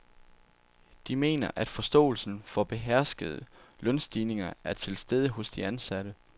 De mener, at forståelsen for beherskede lønstigninger er til stede hos de ansatte.